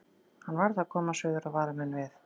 Hann varð að komast suður og vara menn við.